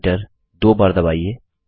enter दो बार दबाइए